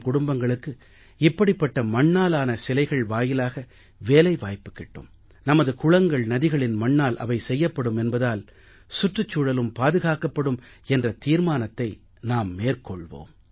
குடும்பங்களுக்கு இப்படிப்பட்ட மண்ணாலான சிலைகள் வாயிலாக வேலைவாய்ப்பு கிட்டும் நமது குளங்கள் நதிகளின் மண்ணால் அவை செய்யப்படும் என்பதால் சுற்றுச்சூழலும் பாதுகாக்கப்படும் என்ற தீர்மானத்தை நாம் மேற்கொள்வோம்